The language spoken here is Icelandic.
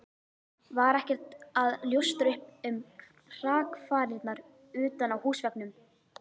Var ekkert að ljóstra upp um hrakfarirnar utan á húsveggnum.